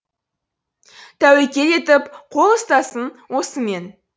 тәуекел етіп қол ұстасын осымен